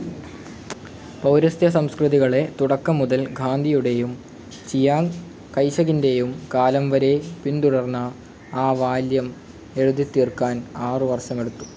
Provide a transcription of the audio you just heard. പൌരസ്ത്യസംസ്കൃതികളെ തുടക്കം മുതൽ ഗാന്ധിയുടേയും ചിയാങ്ങ് കൈഷകിൻ്റെയും കാലം വരേ പിന്തുടർന്ന ആ വോളിയും എഴുതിത്തീർക്കാൻ ആറു വർഷമെടുത്തു.